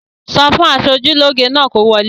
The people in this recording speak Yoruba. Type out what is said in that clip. Sọ fún aṣojúlóge náà kó wọlé!